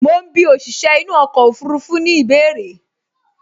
Mo ń bí òṣìṣẹ́ inú ọkọ̀ ọfurufú ní ìbéèrè